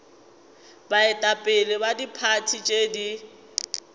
baetapele ba diphathi tše di